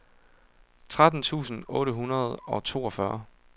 tretten tusind otte hundrede og toogfyrre